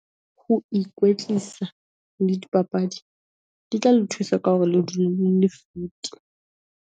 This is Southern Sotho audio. Ho ikwetlisa le dipapadi, di tla le thusa ka hore le dule le le fit.